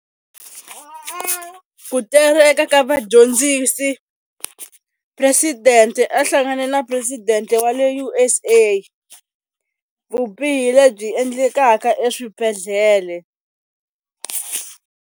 Ku tereka ka vadyondzisi. President-e a hlangane na president-e wa le U_S_A. Vubihi lebyi endlekaka eswibedhlele.